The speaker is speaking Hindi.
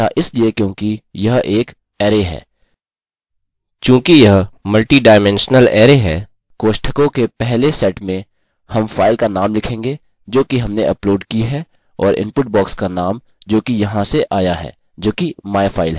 चूँकि यह मल्टिडाइमेंशनल अरै है कोष्ठकों के पहले सेट में हम फाइल का नाम लिखेंगे जोकि हमने अपलोड की है और इनपुट बॉक्स का नाम जोकि यहाँ से आया है जोकि myfile है